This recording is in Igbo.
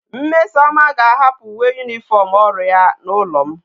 mmesoma ga a hapu uwe uniform oru ya na ulo m